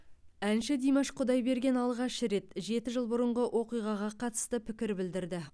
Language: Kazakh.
әнші димаш құдайберген алғаш рет жеті жыл бұрынғы оқиғаға қатысты пікір білдірді